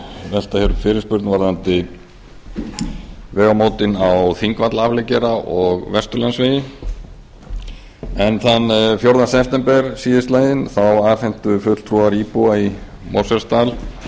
velta upp fyrirspurn um vegamótin á þingvallaafleggjara og vesturlandsvegi þann fjórða september síðastliðinn afhentu fulltrúar íbúa í mosfellsdal